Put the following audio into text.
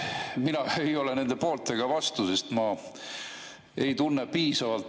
Mina ei ole nende poolt ega vastu, sest ma ei tunne valdkonda piisavalt.